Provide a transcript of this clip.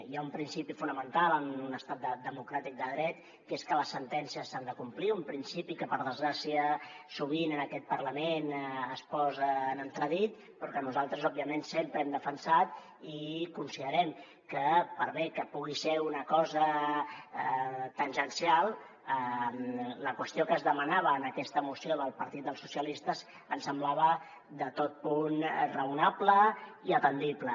hi ha un principi fonamental en un estat democràtic de dret que és que les sentències s’han de complir un principi que per desgràcia sovint en aquest parlament es posa en entredit però que nosaltres òbviament sempre hem defensat i considerem que per bé que pugui ser una cosa tangencial la qüestió que es demanava en aquesta moció del partit dels socialistes ens semblava de tot punt raonable i atendible